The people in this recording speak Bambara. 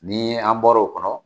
Ni an bɔr'o kɔnɔ